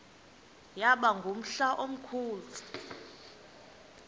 yaba ngumhla omkhulu